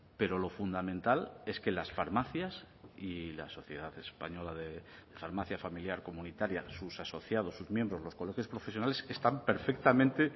pero lo fundamental es que las farmacias y la sociedad española de farmacia familiar comunitaria sus asociados sus miembros los colegios profesionales están perfectamente